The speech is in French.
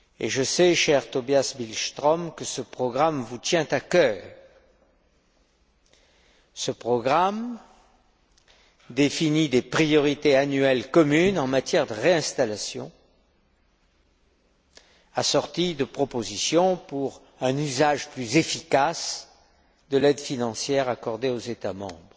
Je sais, cher Tobias Billström, que ce programme vous tient à cœur. Il définit des priorités annuelles communes en matière de réinstallation, assorties de propositions pour un usage plus efficace de l'aide financière accordée aux États membres